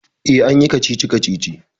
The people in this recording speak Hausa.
E, an yi kacici-kacici.